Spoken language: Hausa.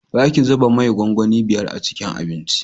Za ki zuba mai gwangwani biyar a cikin abinci